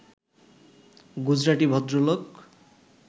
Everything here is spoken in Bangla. গুজরাটি ভদ্রলোক